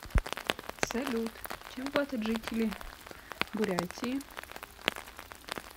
салют чем платят жители бурятии